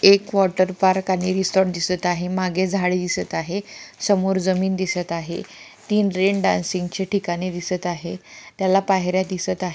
एक water park आणि resort दिसत आहे मागे झाडे दिसत आहे समोर जमीन दिसत आहे तीन रेन डान्सिंग चे ठिकाणे दिसत आहे त्याला पायऱ्या दिसत आहे.